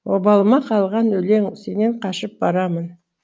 обалыма қалған өлең сенен қашып барамын